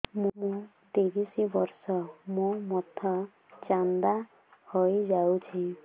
ମୋ ତିରିଶ ବର୍ଷ ମୋ ମୋଥା ଚାନ୍ଦା ହଇଯାଇଛି